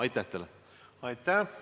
Aitäh!